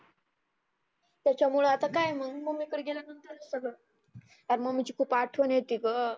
त्याच्यामुळ आता काय मग मम्मीकडं गेल्या नंतरचं सगळ. यार मम्मीची खुप आठवनं येते गं.